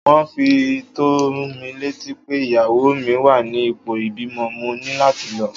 Wón fi tó mi létí pé ìyàwó mi wá ní ipò ìbímọ, mo ní láti lọ.